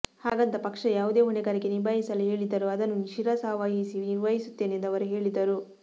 ಹಾಗಂತ ಪಕ್ಷ ಯಾವುದೇ ಹೊಣೆಗಾರಿಕೆ ನಿಭಾಯಿಸುಲು ಹೇಳಿದರೂ ಅದನ್ನು ಶಿರಸಾವಹಿಸಿ ನಿರ್ವಹಿಸುತ್ತೇನೆ ಎಂದು ಅವರು ಹೇಳಿದರು